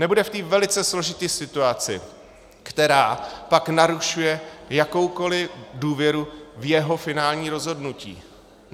Nebude v té velice složité situaci, která pak narušuje jakoukoli důvěru v jeho finální rozhodnutí.